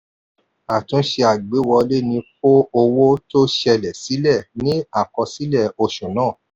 àtúnṣe àgbéwọlé ní kó owó tó ṣẹlẹ̀ sílẹ̀ ní àkọsílẹ̀ oṣù náà.